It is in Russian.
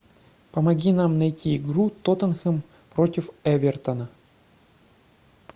помоги нам найти игру тоттенхэм против эвертона